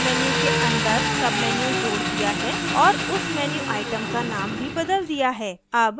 अब हमने file menu के अंदर menu जोड़ दिया है और उस menu item का now भी बदल दिया है